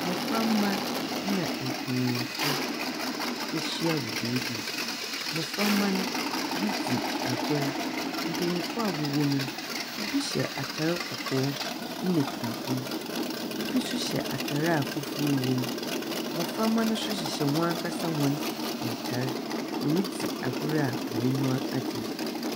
Mbɔframba na mpenyinfo ehyia wɔ beebi. Mbɔframba no ridzu agor. Mpenyinfo a wɔwɔ mu no. bi hyɛ atar kɔkɔɔ na tuntum. Bi nso hyɛ atar a fufuw wɔ mu. Mbɔframba no nso hyehyɛ hɔn ankasa hɔn ntar. Woridzi agor a hɔn enyiwa agye.